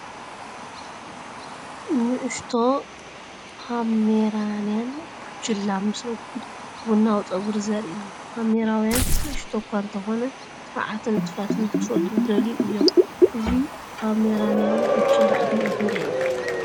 ንእሽቶ ፖሜራንያን ቡችላ ምስ ረጒድ ቡናዊ ጸጉሪ ዘርኢ እዩ። ፖሜራንያውያን ንእሽቶ እኳ እንተዀኑ፡ ተባዓትን ንጡፋትን ንኽፈልጡ ዝደልዩን እዮም። እዚ ፖሜራንያዊ ቡችላ ዕድሚኡ ክንደይ እዩ?